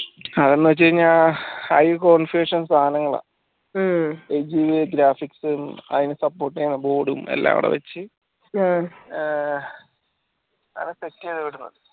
അതെന്താന് വെച്ചയ്‌നാ high സനങ്ങളാ graphics അതിന് support യ്യ്ന്ന board ഉം എല്ലാ അവിടെ വെച്ച് ആഹ് അതെ check യ്ത് ഇവിടെന്ന്